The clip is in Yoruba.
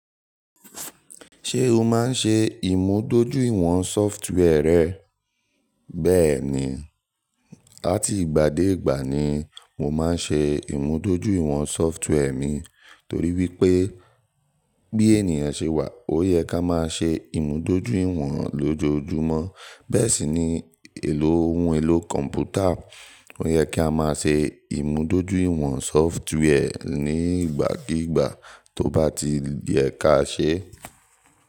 Ṣé o máa ń ṣe ìmúdójúìwọ̀n software rẹ? Bẹ́ẹ̀ni, àti ìgbà dé ìgbà ni mo máa ń ṣe ìmúdójúìwọ̀n software mi, torí wípé bí ènìyàn ṣe wà, ó yẹ ká máa ṣe ìmúdójúìwọ̀n lójoojúmọ́. Bẹ́ẹ̀ sì ni ohun èlò kọ̀m̀pútà, ó yẹ kí a máa ṣe ìmúdójúìwọ̀n software ní ìgbàkígbà tó bá ti yẹ ká ṣe.